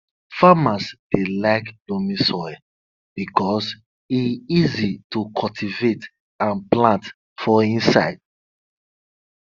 farmers dey like loamy soil because e easy to cultivate and plant for inside